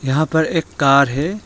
यहां पर एक कार है।